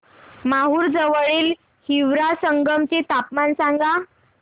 माहूर जवळील हिवरा संगम चे तापमान सांगा